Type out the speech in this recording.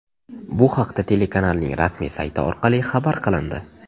Bu haqda telekanalning rasmiy sayti orqali xabar qilindi .